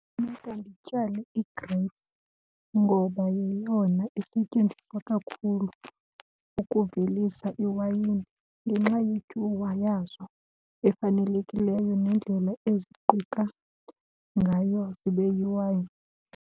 Funeka ndityale igreyiphu ngoba yeyona isetyenziswa kakhulu ukuvelisa iwayini ngenxa yetyuwa yazo efanelekileyo nendlela eziquka ngayo zibe yiwayini.